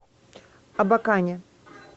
абакане